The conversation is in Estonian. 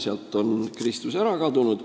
" Sealt oli Kristus ära kadunud.